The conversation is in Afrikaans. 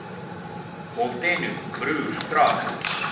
molteno broers trust